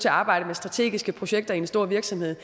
at arbejde med strategiske projekter i en stor virksomhed